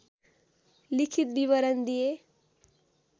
लिखित विवरण दिए